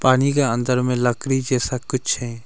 पानी के अंदर में लकरी जैसा कुछ है।